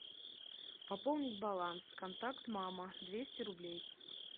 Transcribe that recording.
пополнить баланс контакт мама двести рублей